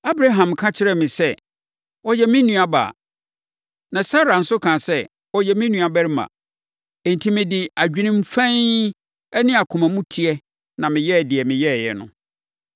Abraham ka kyerɛɛ me sɛ, ‘Ɔyɛ me nuabaa.’ Na Sara no nso kaa sɛ, ‘Ɔyɛ me nuabarima.’ Enti mede adwenem fann ne akoma mu teɛ na meyɛɛ deɛ meyɛeɛ no.”